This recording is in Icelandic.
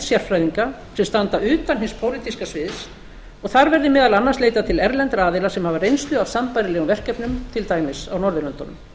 sérfræðinga sem standa utan hins pólitíska sviðs og þar verði meðal annars leitað til erlendra aðila sem hafa reynslu af sambærilegum verkefnum til dæmis á norðurlöndunum